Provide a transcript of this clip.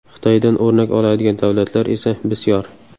Xitoydan o‘rnak oladigan davlatlar esa bisyor.